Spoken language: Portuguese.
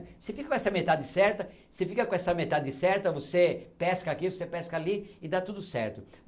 Você fica com essa metade certa, você fica com essa metade certa, você pesca aqui, você pesca ali e dá tudo certo.